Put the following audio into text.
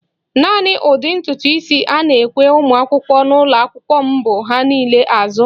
Naani ụdị ntutu isi a na-ekwe ụmụakwụkwọ n'ụlọakwụkwọ m bụ "ha niile azụ